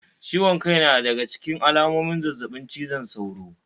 Ciwon kai na daga ciken alamomin zazzabin cizon sauro